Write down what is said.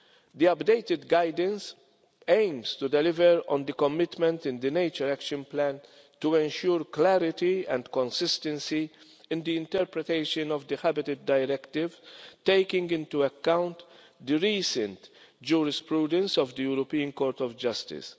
The updated guidance aims to deliver on the commitments in the Nature Action Plan to ensure clarity and consistency in the interpretation of the Habitats Directive, taking into account the recent case law of the European Court of Justice.